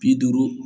Bi duuru